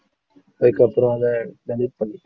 அதுக்கப்புறம் அதை delete பண்ணிட்டேன்